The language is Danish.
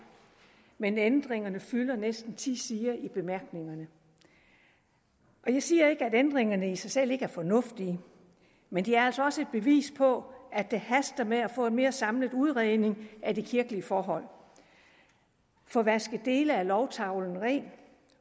men ændringerne fylder næsten ti sider i bemærkningerne jeg siger ikke at ændringerne i sig selv ikke er fornuftige men de er altså også et bevis på at det haster med at få en mere samlet udredning af de kirkelige forhold få vasket dele af lovtavlen ren